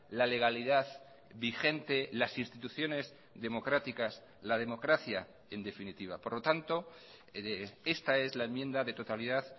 la legalidad vigente las instituciones democráticas la democracia en definitiva por lo tanto esta es la enmienda de totalidad